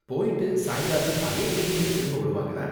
போய்ட்டு சாயங்காலம் அதே டிரைன்லயே திரும்ப வருவாங்களா?